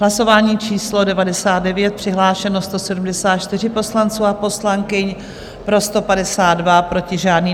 Hlasování číslo 99, přihlášeno 174 poslanců a poslankyň, pro 152, proti žádný.